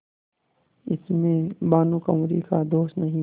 इसमें भानुकुँवरि का दोष नहीं